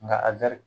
Nka a gari